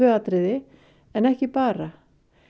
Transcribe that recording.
atriði en ekki bara